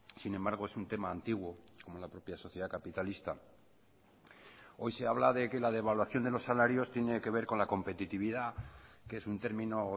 sin embargo es un tema antiguo como la propia sociedad capitalista hoy se habla de que la devaluación de los salarios tiene que ver con la competitividad que es un término